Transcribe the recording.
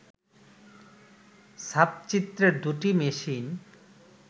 ছাপচিত্রের দুটি মেশিন